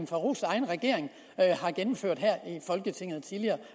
farooqs egen regering har gennemført her i folketinget tidligere